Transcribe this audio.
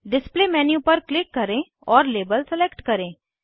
display menu पर click करें और लाबेल सलेक्ट करें